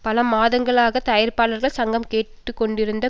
பல மாதங்களாக தயாரிப்பாளர்கள் சங்கம் கேட்டு கொண்டிருந்த